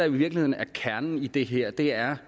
virkeligheden er kernen i det her er